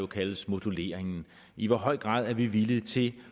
kaldes moduleringen i hvor høj grad er vi villige til